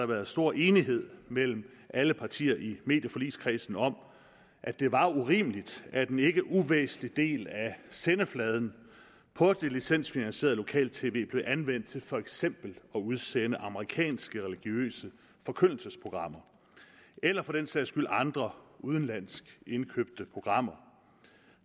været stor enighed mellem alle partierne i medieforligskredsen om at det var urimeligt at en ikke uvæsentlig del af sendefladen på det licensfinansierede lokal tv blev anvendt til for eksempel at udsende amerikanske religiøse forkyndelsesprogrammer eller for den sags skyld andre udenlandsk indkøbte programmer